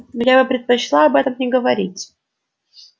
но я бы предпочла об этом не говорить